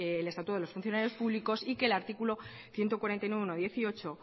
el estatuto de los funcionarios públicos y que el artículo ciento cuarenta y nueve punto uno punto dieciocho